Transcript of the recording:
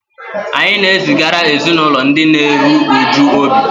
Anyị na-ezigara ezinụlọ ndị na-eru uju obi